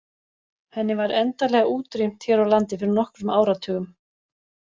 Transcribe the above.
Henni var endanlega útrýmt hér á landi fyrir nokkrum áratugum.